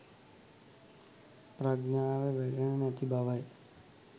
ප්‍රඥාව වැඩෙන්නෙ නැති බවයි